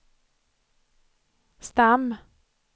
stam